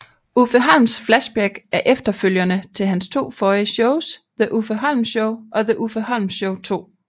Uffe Holms Flashback er efterfølgerne til hans to forrige shows The Uffe Holm Show og The Uffe Holm Show 2